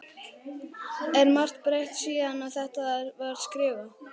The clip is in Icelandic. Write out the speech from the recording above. Er margt breytt síðan að þetta var skrifað?